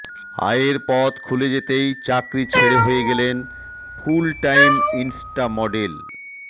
আয়ের পথ খুলে যেতেই চাকরি ছেড়ে হয়ে গেলেন ফুলটাইম ইনস্টা মডেল